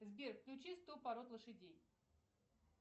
сбер включи сто пород лошадей